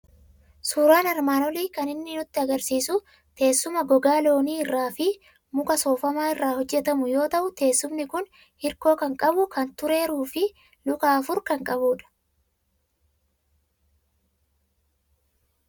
Suuraan armaan olii kan inni nutti argisiisu teessuma gogaa loonii irraa fi muka soofamaa irraa hojjetamu yoo ta'u, teessumni kuni hirkoo kan qabu, kan tureeruu fi luka afur kan qabudha.